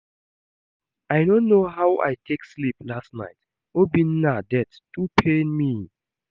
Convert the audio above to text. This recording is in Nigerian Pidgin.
I no know how I take sleep last night, Obinna death too pain me